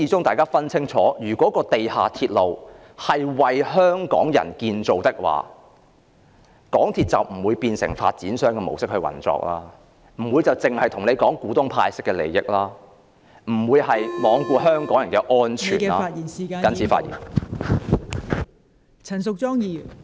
大家要分清楚，如果地下鐵路由始至終是為香港人建造的話，港鐵公司就不會變成以發展商的模式運作，不會只顧及向股東派息，不會罔顧香港人的安全.....謹此發言。